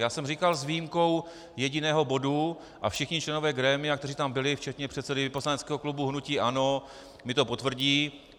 Já jsem říkal, s výjimkou jediného bodu, a všichni členové grémia, kteří tam byli, včetně předsedy poslaneckého klubu hnutí ANO, mi to potvrdí.